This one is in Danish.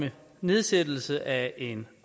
nedsættelse af en